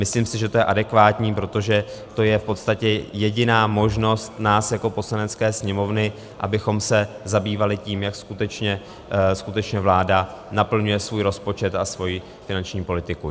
Myslím si, že to je adekvátní, protože to je v podstatě jediná možnost nás jako Poslanecké sněmovny, abychom se zabývali tím, jak skutečně vláda naplňuje svůj rozpočet a svoji finanční politiku.